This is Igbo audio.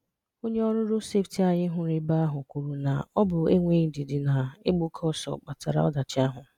Onye ọrụ Roodu Sefiti anyị hụrụ ebe ahụ kwuru na ọ bụ enweghị ndidị na ịgba oke ọsọ kpatara ọdachi ahụ.